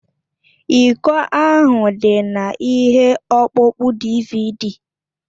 Iko ahụ dị na ihe ọkpụkpọ DịVịDí